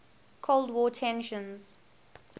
cold war tensions